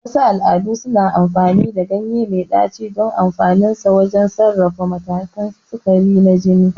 Wasu al'adu suna amfani da ganye mai ɗaci don amfaninsa wajen sarrafa matakan sukari na jini.